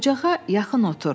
Ocağa yaxın otur.